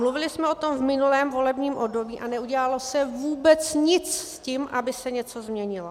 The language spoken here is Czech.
Mluvili jsme o tom v minulém volebním období a neudělalo se vůbec nic s tím, aby se něco změnilo.